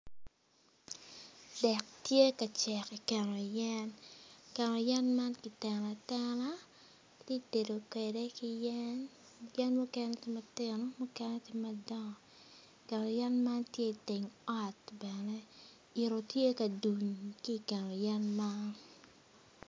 Dek tye ka cek i keno yen keno yen man kiteno atena ki tye ka tedo kwede ki yen yen mukene tye matino mukene madwongo.